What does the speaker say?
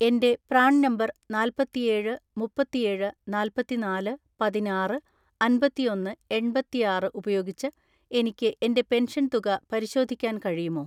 എൻ്റെ PRAN number നാല്‍പത്തിഏഴ് മുപ്പത്തിഏഴ് നാല്‍പത്തിനാല് പതിനാറ്‌ അമ്പത്തിഒന്ന് എണ്‍പത്തിആറ് ഉപയോഗിച്ച് എനിക്ക് എന്റെ പെൻഷൻ തുക പരിശോധിക്കാൻ കഴിയുമോ?